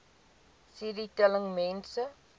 cd telling mense